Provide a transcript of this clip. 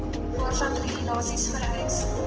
waarvan regulasies vereis